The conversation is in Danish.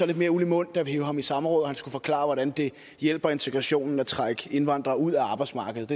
lidt mere uld i mund da vi hev ham i samråd og han skulle forklare hvordan det hjælper integrationen at trække indvandrere ud af arbejdsmarkedet